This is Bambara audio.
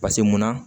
Paseke munna